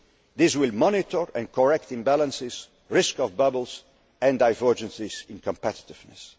This will monitor and correct imbalances, risks of bubbles, and divergences in competitiveness.